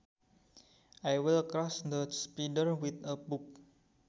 I will crush the spider with a book